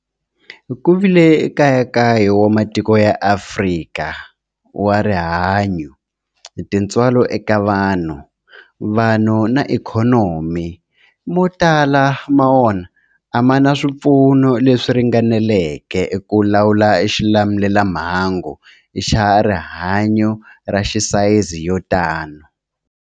Ku vile nkayakayo wa matiko ya Afrika wa rihanyu, tintswalo eka vanhu, vanhu na ikhonomi, mo tala ma wona a ma na swipfuno leswi ringaneleke ku lawula xilamulelamhangu xa rihanyu xa sayizi yo tani.